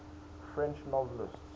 french novelists